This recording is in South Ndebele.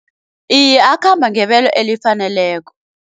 Iye akhamba ngebelo elifaneleko.